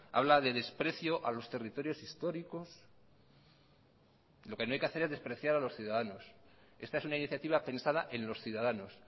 habla de desprecio a los territorios históricos lo que no hay que hacer es despreciar a los ciudadanos esta es una iniciativa pensada en los ciudadanos